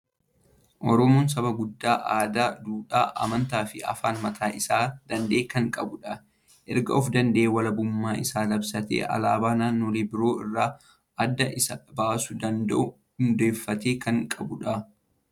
Oromoon saba guddaa aadaa, duudhaa, amantaa fi afaan mataa isaa dana'e kan qabudha! Erga of danda'e walabummaa isaa labsatee alaabaa naannolee biroo irraa adda isa baasuu danda'u hundeeffatee kan qabudha.